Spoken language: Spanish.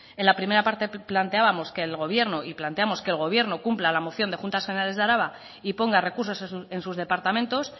en la primera parte planteábamos que el gobierno y planteamos que el gobierno cumpla la moción de juntas generales de araba y ponga recursos en sus departamentos